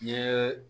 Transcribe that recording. N ye